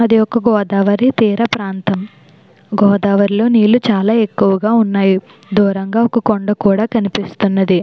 అది ఒక గోదావరి తీర ప్రాంతం గోదావరిలో నీళ్లు చాలా ఎక్కువగా ఉన్నాయి. దూరంగా ఒక కొండ కూడా కనిపిస్తున్నది.